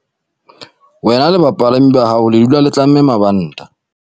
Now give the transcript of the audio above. Wena le bapalami ba hao le dula le tlamme mabanta.